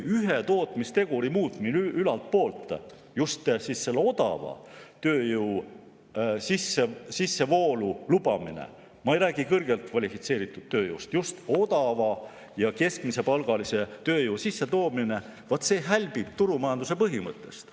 Ühe tootmisteguri muutmine ülaltpoolt, just selle odava tööjõu sissevoolu lubamine – ma ei räägi kõrgelt kvalifitseeritud tööjõust, vaid just odava ja keskmise palgaga tööjõu sissetoomisest –, hälbib turumajanduse põhimõttest.